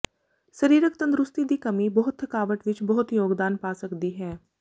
ਸਰੀਰਕ ਤੰਦਰੁਸਤੀ ਦੀ ਕਮੀ ਬਹੁਤ ਥਕਾਵਟ ਵਿਚ ਬਹੁਤ ਯੋਗਦਾਨ ਪਾ ਸਕਦੀ ਹੈ